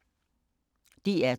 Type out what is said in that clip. DR2